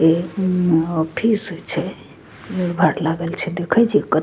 ए उम्म ऑफिस छे भीड़-भाड़ लागल छे देखई छे कत --